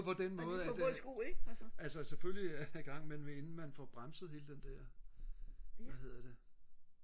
på den måde at øh altså selvfølgelig i gang inden så man får bremset hele den der hvad hedder det